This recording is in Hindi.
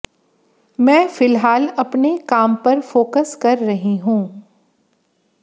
मैं फिलहाल अपने काम पर फोकस कर रही हूं